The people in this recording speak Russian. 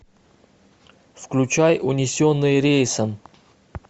включай унесенные рейсом